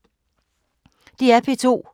DR P2